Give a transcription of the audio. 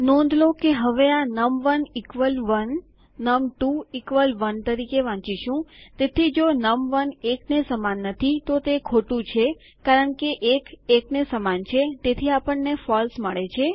નોંધ લો કે હવે આ નમ1 1 નમ2 1 તરીકે વાંચીશું તેથી જો નમ1 1ને સમાન નથી તો તે ખોટું છે કારણ કે ૧ ૧ને સમાન છે તેથી આપણને ફળસે મળે છે